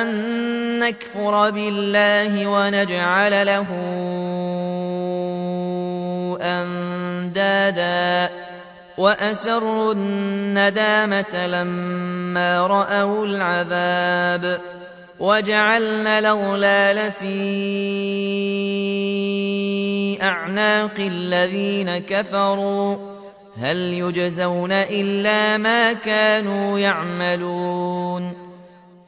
أَن نَّكْفُرَ بِاللَّهِ وَنَجْعَلَ لَهُ أَندَادًا ۚ وَأَسَرُّوا النَّدَامَةَ لَمَّا رَأَوُا الْعَذَابَ وَجَعَلْنَا الْأَغْلَالَ فِي أَعْنَاقِ الَّذِينَ كَفَرُوا ۚ هَلْ يُجْزَوْنَ إِلَّا مَا كَانُوا يَعْمَلُونَ